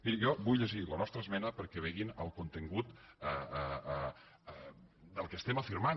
miri jo vull llegir la nostra esmena perquè vegin el contingut del que afirmem